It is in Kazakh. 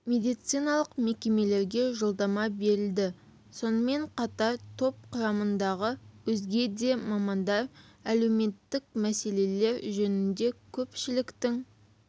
медициналық мекемелерге жолдама берілді сонымен қатар топ құрамындағы өзге де мамандар әлеуметтік мәселелер жөнінде көпшіліктің